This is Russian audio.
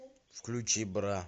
включи бра